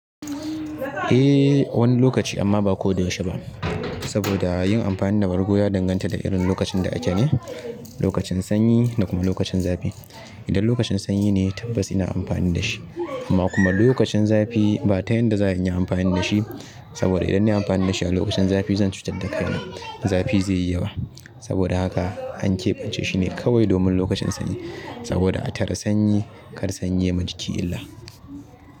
Eh wani lokaci amma ba koyaushe ba. Saboda yin amfani da bargo ya danganta da irin lokacin da ake ne, lokacin sanyi da kuma lokacin zafi. Idan lokacin sanyi ne tabbas ina amfani da shi amma kuma lokacin zafi ba ta yadda za a yi inyi amfani da shi. Saboda idan nayi amfani da shi a lokacin zafi zan cutar da kaina. Zafi zai yi yawa. Saboda haka an keɓance shine kawai domin lokacin sanyi. Saboda a tare sanyi kar sanyi yayima jiki illa.